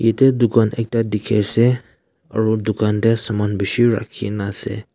yate dukan ekta dikhiase aro dukan tae saman bishi rakhina ase.